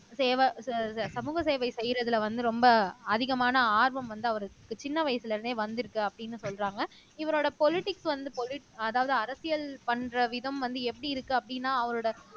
சேவை சமூக சேவை செய்யறதுல வந்து ரொம்ப அதிகமான ஆர்வம் வந்து அவருக்கு சின்ன வயசுல இருந்தே வந்திருக்கு அப்படின்னு சொல்றாங்க இவரோட பொலிடிக்ஸ் வந்து பொலி அதாவது அரசியல் பண்ற விதம் வந்து எப்படி இருக்கு அப்படின்னா அவரோட